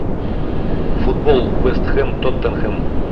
футбол вест хэм тоттенхэм